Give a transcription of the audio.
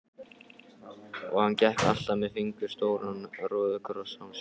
Og hann gekk alltaf með fingur stóran róðukross á sér.